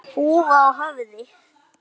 Húfa á höfði.